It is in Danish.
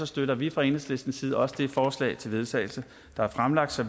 støtter vi fra enhedslistens side også det forslag til vedtagelse der er fremsat så